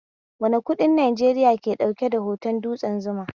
Wane kuɗin Najeriya ke ɗauke da hoton dutsen Zuma?